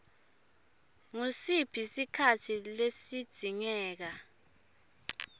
ngusiphi sikhatsi lesidzingeka